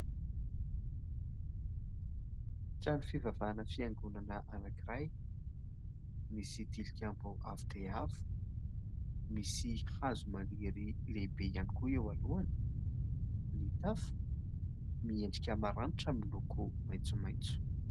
Trano fivavahana fiangonana anankiray misy tilikambo avo dia avo, misy hazo maniry lehibe ihany koa eo alohany, ny tafo miendrika maranitra miloko maitsomaitso.